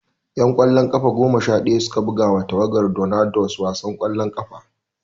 'Yan ƙwallon ƙafa goma sha ɗaya su ka buga ma tawagar Tornadoes wasan ƙwallon ƙafa.